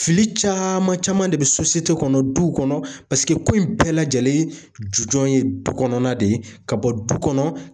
Fili caman caman de bɛ kɔnɔ du kɔnɔ ko in bɛɛ lajɛlen ju jɔ ye du kɔnɔna de ye ka bɔ du kɔnɔ.